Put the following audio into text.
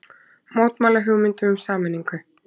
Mótmæla hugmyndum um sameiningu